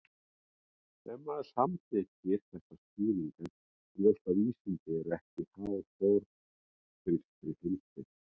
Ef maður samþykkir þessa skýringu er ljóst að vísindi eru ekki háð forngrískri heimspeki.